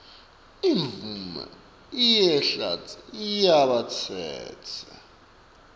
imvumo yekuhlala yalabatsetse